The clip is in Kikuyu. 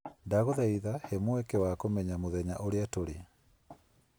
Ndagũthaitha he mweke wa kũmenya mũthenya ũrĩa tũrĩ.